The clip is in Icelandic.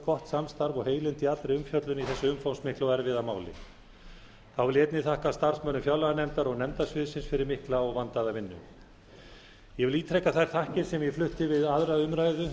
gott samstarf og heilindi í allri umfjöllun í þessu umfangsmikla og erfiða máli þá þakka ég einnig starfsmönnum fjárlaganefndar og nefndasviðsins fyrir mikla og vandaða vinnu ég ítreka þær þakkir sem ég flutti við aðra umræðu